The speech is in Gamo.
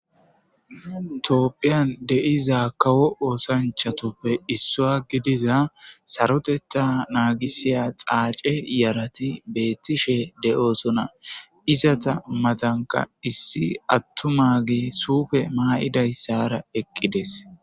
Tophiyan de'za kawo osanchatuppe issuwa gidiza sarotetha nagisiya dhace yarati beetishe de'osona, izeta matanka issi atumagey suupe mayidaysara eqides.